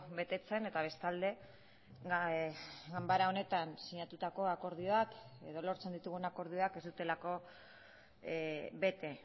betetzen eta bestalde ganbara honetan sinatutako akordioak edo lortzen ditugun akordioak ez dutelako bete